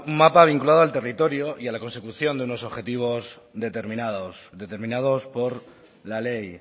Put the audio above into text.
mapa vinculado al territorio y a la consecución de unos objetivos determinados determinados por la ley